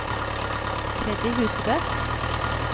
Freddy Husebø